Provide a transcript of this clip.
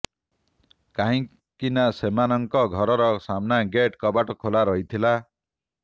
କାହିଁକି ନା ସେମାନଙ୍କ ଘରର ସାମ୍ନା ଗେଟ୍ କବାଟ ଖୋଲା ରହିଥିଲା